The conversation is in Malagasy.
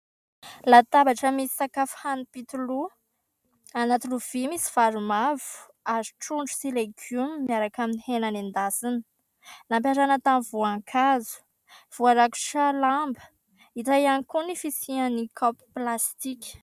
Latabatra misy sakafo hanimpitoloha. Anaty lovia, misy vary mavo ary trondro sy legioma miaraka amin'ny hena nendasina. Nampiarahana tamin'ny voankazo. Voarakotra lamba. Hita ihany koa ny fisian'ny kaopy plastika.